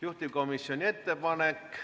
Juhtivkomisjoni ettepanek ...